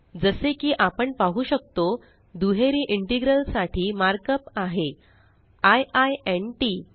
जसे की आपण पाहु शकतो दुहेरी इंटेग्रल साठी मार्कअप आहे आय आय न् टीटी